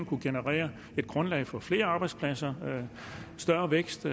kunne generere et grundlag for flere arbejdspladser større vækst